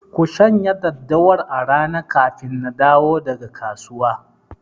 Ku shanya daddawar a rana kafin na dawo daga kasuwa!